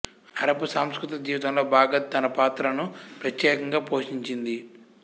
Arab సాంస్కృతిక జీవితంలో Baghdad తన పాత్రను ప్రత్యేకంగా పోషించింది